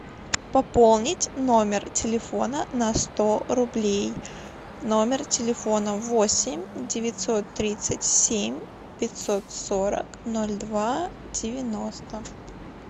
пополнить номер телефона на сто рублей номер телефона восемь девятьсот тридцать семь пятьсот сорок ноль два девяносто